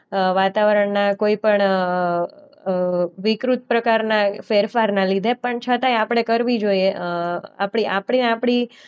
અ વાતાવરણના કોઈ પણ અ અ વિકૃત પ્રકારના ફેરફારના લીધે પણ છતાંય આપણે કરવી જોઈએ અ આપણી આપણે આપણી